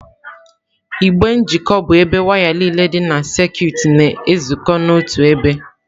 Igbe njikọ bụ ebe waya niile dị na sekit na-ezukọ n'otu ebe.